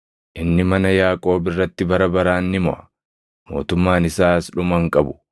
inni mana Yaaqoob irratti bara baraan ni moʼa; mootummaan isaas dhuma hin qabu.”